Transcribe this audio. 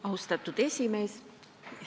Austatud esimees!